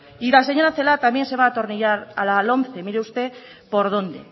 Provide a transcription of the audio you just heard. y la señora celaá también se va a atornillar a la lomce mire usted por dónde